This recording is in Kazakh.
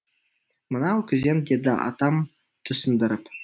мынау күзен деді атам түсіндіріп